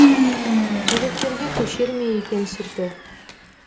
жүректерге көшер ме екен сүрті